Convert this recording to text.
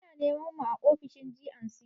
Ana neman mu a ofishin G&C.